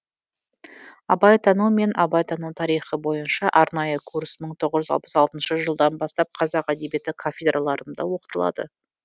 абайтану мен абайтану тарихы бойынша арнайы курс мың тоғыз жүз алпыс алтыншы жылдан бастап қазақ әдебиеті кафедраларында оқытылады